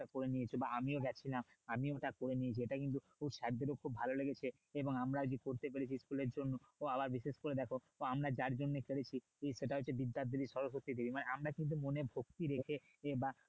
করে নিয়েছো বা আমিও গিয়েছিলাম আমিও ঠাকুর এনেছি ওটা কিন্তু sir দেরও খুব ভালো লেগেছে এবং আমরা আরকি করতে পেরেছি school এর জন্য তো আবার বিশেষ করে দেখো তো আমরা যার জন্য করেছি সেটা হচ্ছে বিদ্যার দেবী সরস্বতী দেবী মানে আমরা কিন্তু মনে ভক্তি রেখে বা